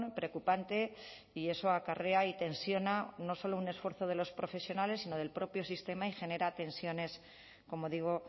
preocupante y eso acarrea y tensiona no solo un esfuerzo de los profesionales sino del propio sistema y genera tensiones como digo